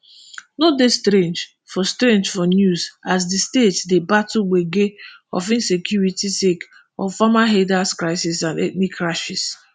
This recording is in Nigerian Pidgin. no dey strange for strange for news as di state dey battle gbege of insecurity sake of farmerherders crisis and ethnic clashes